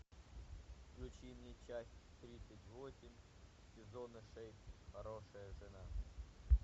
включи мне часть тридцать восемь сезона шесть хорошая жена